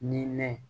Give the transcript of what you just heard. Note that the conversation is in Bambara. Nin ne